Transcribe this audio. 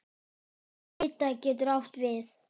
Ida getur átt við